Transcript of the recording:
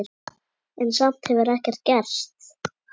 En samt hefur ekkert gerst.